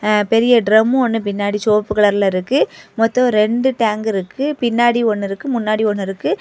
ஆ பெரிய ட்ரம் ஒன்னு பின்னாடி செவப்பு கலர்ல இருக்கு மொத்தம் ரெண்டு டேங்க் இருக்கு பின்னாடி ஒன்னு இருக்கு முன்னாடி ஒன்னு இருக்கு.